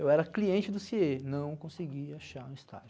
Eu era cliente do CIE, não consegui achar um estágio.